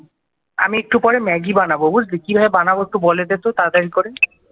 আমি একটু পরে ম্যাগি বানাবো বুঝলি? কিভাবে বানাবো একটু বলে দে তো তাড়াতাড়ি করে